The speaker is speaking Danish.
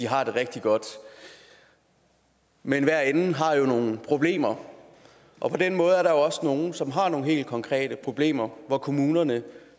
har det rigtig godt men hver ende har jo nogle problemer og på den måde er der også nogle som har nogle helt konkrete problemer hvor kommunerne